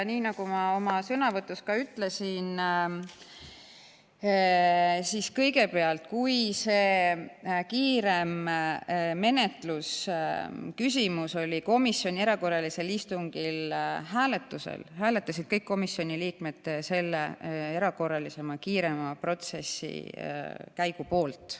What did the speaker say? Nii nagu ma ka oma sõnavõtus ütlesin, kõigepealt, kui see kiirema menetluse küsimus oli komisjoni erakorralisel istungil hääletusel, siis hääletasid kõik komisjoni liikmed selle erakorralise kiirema protsessi käigu poolt.